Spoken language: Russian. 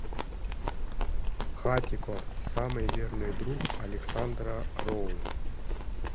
хатико самый верный друг александра роу